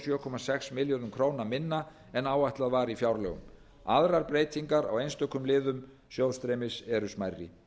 sjö komma sex milljörðum króna minna en áætlað var í fjárlögum aðrar breytingar á einstökum liðum sjóðstreymis eru smærri